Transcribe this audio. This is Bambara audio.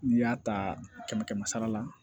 N'i y'a ta kɛmɛ kɛmɛ sara la